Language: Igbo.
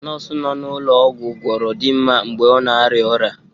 Nọọsụ nọ n'ụlọọgwụ obodo gwọra dinma mgbe ọ na-arịa ọrịa.